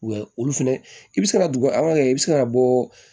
Wa olu fɛnɛ i bi se ka dugu i bi se ka bɔɔ